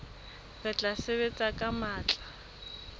re tla sebetsa ka matla